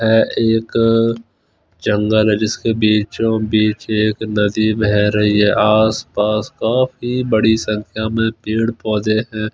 है एक जंगल है जिसके बीचों बीच एक नदी बह रही है आसपास काफी बड़ी संख्या में पेड़ पौधे हैं।